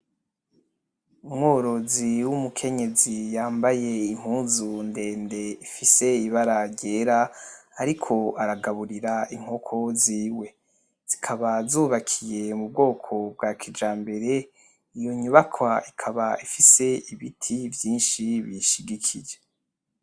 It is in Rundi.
Umworozi w'umukenyezi yambaye impuzu ndende ifise ibara ryera, ariko aragaburira inkoko ziwe, zikaba zubatswe m'ubwoko bwa kijambere, iyo nyubakwa ikaba ifise ibiti vyinshi biyishigikije.